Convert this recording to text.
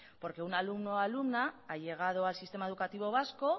porque un alumno o alumna ha llegado al sistema educativo vasco